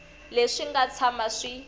leswi swi nga tshama swi